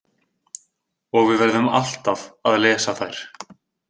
Og við verðum alltaf að lesa þær.